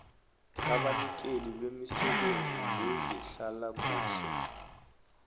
abanikeli bemisebenzi yezehlalakuhle